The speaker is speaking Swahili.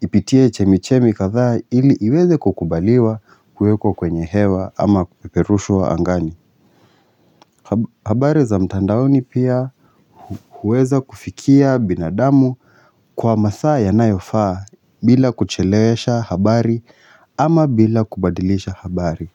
ipitie chemichemi kadhaa ili iweze kukubaliwa kuwekwa kwenye hewa ama kuperushwa angani habari za mtandaoni pia huweza kufikia binadamu kwa mathaa yanayofaa bila kuchelewesha habari ama bila kubadilisha habari.